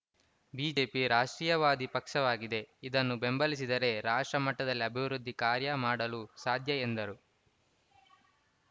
BJP ರಾಷ್ಟ್ರೀಯವಾದಿ ಪಕ್ಷವಾಗಿದೆ ಇದನ್ನು ಬೆಂಬಲಿಸಿದರೆ ರಾಷ್ಟ್ರ ಮಟ್ಟದಲ್ಲಿ ಅಭಿವೃದ್ಧಿ ಕಾರ್ಯ ಮಾಡಲು ಸಾಧ್ಯ ಎಂದರು